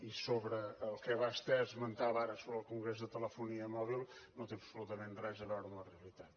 i sobre el que vostè esmentava ara sobre el congrés de telefonia mòbil no té absolutament res a veure amb la realitat